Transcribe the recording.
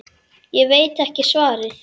Ég veit ekki svarið.